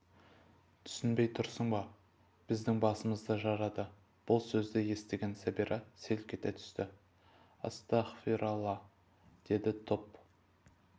түсінбей тұрсың ба біздің басымызды жарады бұл сөзді естігенде сәбира селк ете түсті астағфиралла деді топ